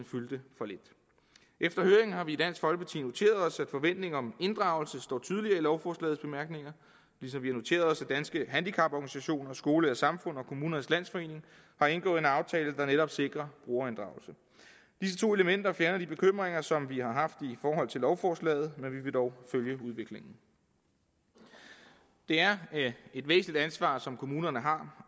fyldte for lidt efter høringen har vi i dansk folkeparti noteret os at forventningen om inddragelse står tydeligere i lovforslagets bemærkninger ligesom vi har noteret os at danske handicaporganisationer skole og samfund og kommunernes landsforening har indgået en aftale der netop sikrer brugerinddragelse disse to elementer fjerner de bekymringer som vi har haft i forhold til lovforslaget men vi vil dog følge udviklingen det er et væsentligt ansvar som kommunerne har